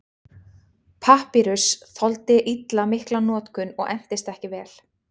Papýrus þoldi illa mikla notkun og entist ekki vel.